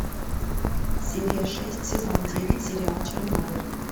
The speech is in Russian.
серия шесть сезон девять сериал чернобыль